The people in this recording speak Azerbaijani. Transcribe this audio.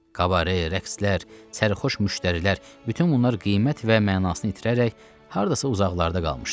Kabarə, rəqslər, sərxoş müştərilər, bütün bunlar qiymət və mənasını itirərək hardasa uzaqlarda qalmışdı.